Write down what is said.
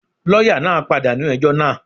Lọ́yà náà pàdánù ẹjọ́ náà.